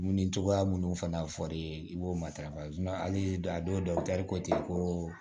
Dumuni cogoya minnu fana fɔr'i ye i b'o matarafa hali a dɔw tɛ kotigi ye ko